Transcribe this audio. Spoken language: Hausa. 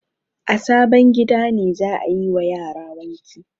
A sabon gida ne za a yi wa yara wanki.